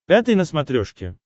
пятый на смотрешке